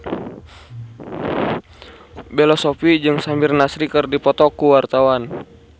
Bella Shofie jeung Samir Nasri keur dipoto ku wartawan